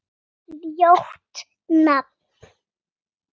Ljótt nafn.